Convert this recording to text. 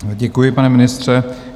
Děkuji, pane ministře.